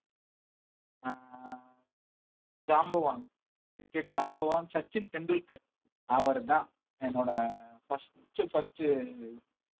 அஹ் ஜாம்பவான் cricket ஜாம்பவான் சச்சின் டெண்டுல்கர் அவர்தான் என்னோட first உ first உ